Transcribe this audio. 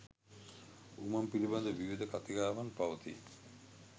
උමං පිළිබඳ විවිධ කතිකාවන් පවතී